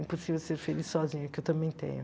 Impossível ser feliz sozinha, que eu também tenho.